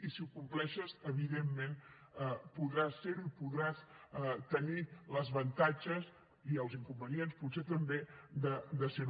i si ho compleixes evidentment podràs ser ho i podràs tenir els avantatges i els inconvenients potser també de ser ho